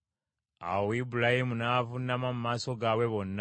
Awo Ibulayimu n’avuunama mu maaso gaabwe bonna.